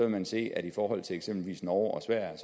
man se at i forhold til eksempelvis norge og sverige